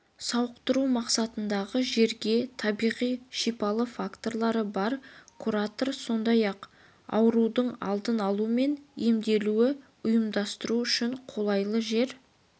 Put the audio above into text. сауықтыру мақсатындағы жерге табиғи шипалы факторлары бар курорттар сондай-ақ аурудың алдын алу мен емдеуді ұйымдастыру үшін қолайлы жер